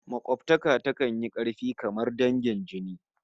Makobtaka takan yi karfi kamar dangin jini